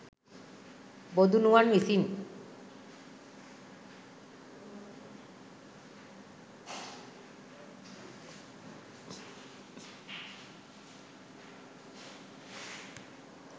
බොදුනුවන් විසින්